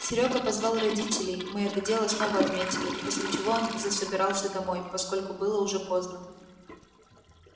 серёга позвал родителей мы это дело снова отметили после чего он засобирался домой поскольку было уже поздно